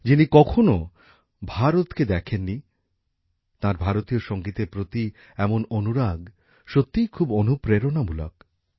যিনি কখনও ভারতকে দেখেননি তাঁর ভারতীয় সঙ্গীতের প্রতি এমন অনুরাগ সত্যিই খুব অনুপ্রেরণামূলক